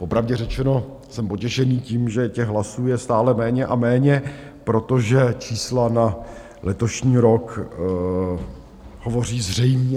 Popravdě řečeno, jsem potěšen tím, že těch hlasů je stále méně a méně, protože čísla na letošní rok hovoří zřejmě.